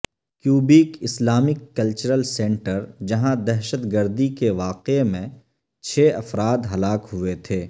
Quebec Islamic cultural centre جہاں دہشت گردی کے واقع میں چھ افراد ہلاک ہوئے تھے